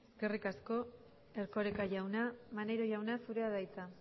eskerrik asko erkoreka jauna maneiro jauna zurea da hitza